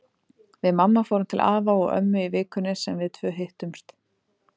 Við mamma fórum til afa og ömmu í vikunni sem við tvö hittumst.